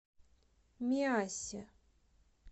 миассе